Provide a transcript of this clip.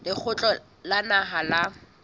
wa lekgotla la naha la